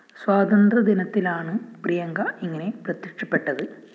സ്വാതന്ത്യദിനത്തിലാണ് പ്രിയങ്ക ഇങ്ങനെ പ്രത്യക്ഷപ്പെട്ടത്